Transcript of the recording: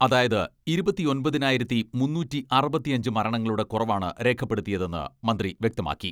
അതായത് ഇരുപത്തിയൊമ്പതിനായിരത്തി മുന്നൂറ്റി അറുപത്തിയഞ്ച് മരണങ്ങളുടെ കുറവാണ് രേഖപ്പെടുത്തിയതെന്ന് മന്ത്രി വ്യക്തമാക്കി.